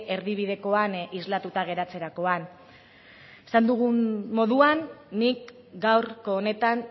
erdibidekoan islatuta geratzerakoan esan dugun moduan nik gaurko honetan